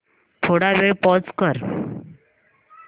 थोडा वेळ पॉझ कर